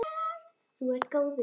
Þú ert góður!